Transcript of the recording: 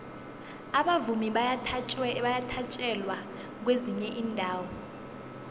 abavumi bayathatjelwa kwezinye iinarha